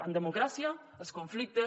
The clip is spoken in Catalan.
en democràcia els conflictes